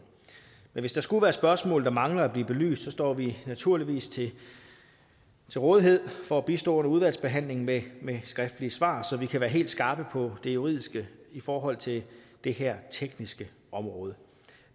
men hvis der skulle være spørgsmål der mangler at blive belyst så står vi naturligvis til rådighed for at bistå under udvalgsbehandlingen med skriftlige svar så vi kan være helt skarpe på det juridiske i forhold til det her tekniske område